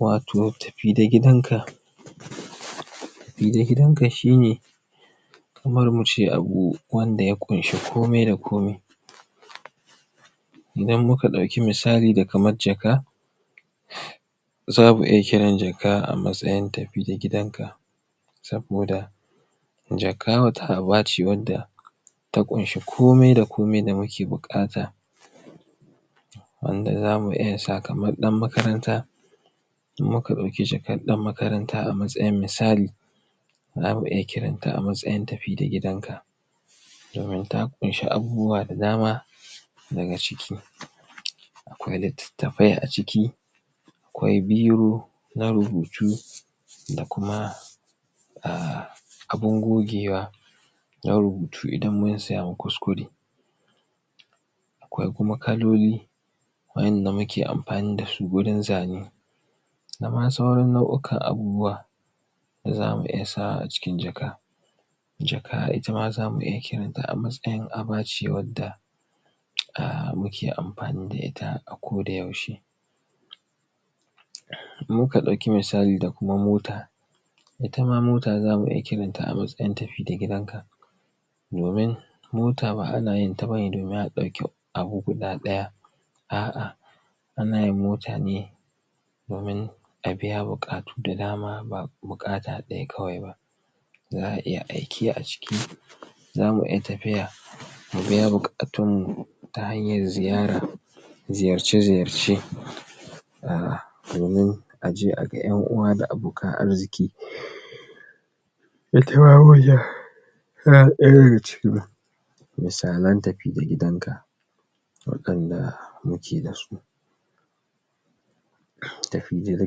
wato tafi da gidan ka tafi da gidan ka shine kamar muce abu wanda ya ƙunsa komai da komai idan muka ɗauki misali da kaman jaka zamu iya kiran jaka a matsayin tafi da gidan ka saboda jaka wata abace wanda ta ƙunshi komai da komai da muke buƙata wanda zamu iyasa kaman ɗan makaranta in muka ɗauki jakan ɗan makaranta a matsayin misali zamu iya kiranta amatsayin tafi da gidan ka domin ta ƙushi abubuwa da dama daga ciki akwai littattafai a ciki akwi biro na rubutu da kuma um abun gogewa na rubutu idan munsamu kuskure ko kuma kaloli wayanda muke amfani dasu gurin zane dama saura nau ukan abubuwa da zamu iya sawa aciki jaka jaka itama zamu iya kirata amatsayin abace wanda um muke amfani da ita ako da yaushe in muka ɗauki musali da kuma mota itama mota zamu iya kiran amatsayin tafi da gidan ka domin mota ba anayinta bane domin a ɗauki abu guda ɗaya a' a anayin mota ne domin abiya buƙatu da dama ba buƙata ɗaya kawai ba za a iya aiki aciki zamu iya tafiya mu biya buƙatunmu ta hayan ziyara ziyarce ziyarce um domin aje aga yan uwa da abokan arziƙi yana ɗaya daga cikin misalan tafi da gidanka waɗanda muke dasu tafi da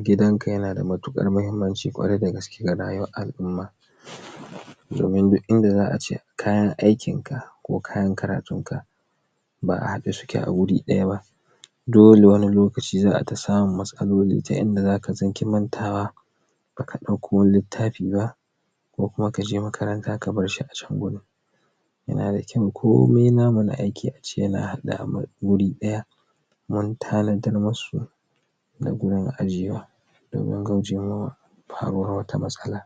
gidanka yanada matukar mahimmanci ƙware da gaske ga rayuwar al umma damin dukinda za ace da kayan aikin ka ko kayan karatunka ba haɗe suke aguri ɗayaba dole wani lokaci za aita samun matsaloli ta inda za mantawa baka ɗauko littafi ba ko kuma kaje makaranta kabarshi acan gurin yana da kyau komai na mu na aiki ace yana haɗe aguri ɗaya mun ta nadar musu na gurun ajjiyewa domin kauce wama faruwar wata matsala